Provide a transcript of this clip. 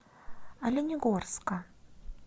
оленегорска